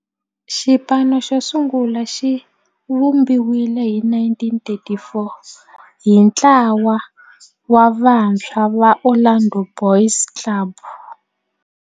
Xipano xosungula xivumbiwile hi 1934 hi ntlawa wa vantshwa va Orlando Boys Club.